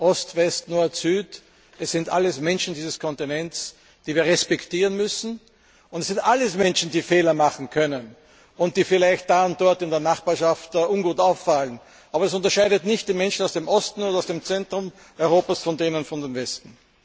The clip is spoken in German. Ost, West, Nord, Süd es sind alles Menschen dieses Kontinents, die wir respektieren müssen. Es sind alles Menschen, die Fehler machen können und die vielleicht da und dort in der Nachbarschaft ungut auffallen. Aber es gibt keinen Unterschied zwischen den Menschen aus dem Osten und aus dem Zentrum Europas und denen aus dem Westen.